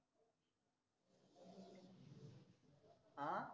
अं?